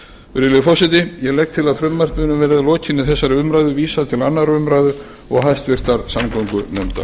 virðulegi forseti ég legg til að frumvarpinu verði að lokinni þessari umræðu vísað til annarrar umræðu og háttvirtrar samgöngunefndar